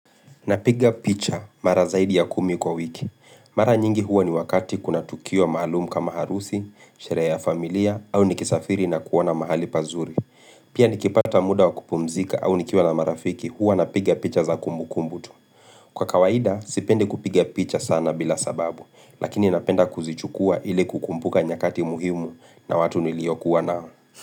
Napiga picha mara zaidi ya kumi kwa wiki. Mara nyingi huwa ni wakati kuna tukio mahalumu kama harusi, sherehe ya familia au nikisafiri na kuoana mahali pazuri. Pia nikipata muda wakupumzika au nikiwq na marafiki huwa napiga picha za kumbu kumbu tu. Kwa kawaida, sipendi kupiga picha sana bila sababu, lakini napenda kuzichukua ili kukumpuka nyakati muhimu na watu niliyokuwa nao.